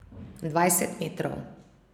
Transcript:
Dvajset metrov.